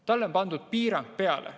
Talle on pandud piirang peale.